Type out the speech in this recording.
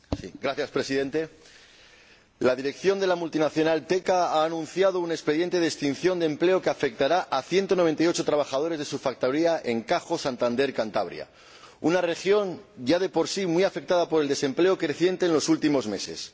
Señor Presidente, la dirección de la multinacional Teka ha anunciado un expediente de extinción de empleo que afectará a 198 trabajadores de su factoría en Cajo, Santander una región ya de por sí muy afectada por el desempleo creciente en los últimos meses.